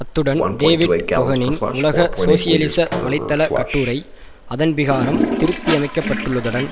அத்துடன் டேவிட் கொகனின் உலக சோசியலிச வலைத்தள கட்டுரை அதன்பிராகாரம் திருத்தியமைக்கப்பட்டுள்ளதுடன்